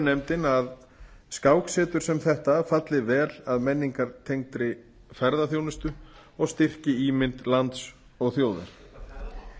nefndin að skáksetur sem þetta falli vel að menningartengdri ferðaþjónustu og styrki ímynd lands og þjóðar